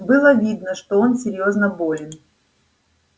было видно что он серьёзно болен